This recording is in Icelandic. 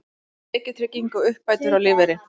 Tekjutrygging og uppbætur á lífeyri.